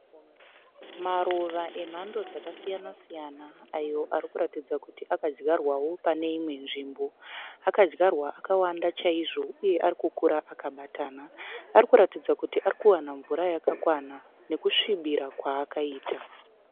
Maruva emhando dzakasiyana siyana ayo arikuratidza kuti akadyarwao pane imwe nzvimbo. Akadyarwa akawanda chaizvo uye arikukura akabatana. Arikuratidza kuti arikuwana mvura yakakwana nekusvibira kwaakaita.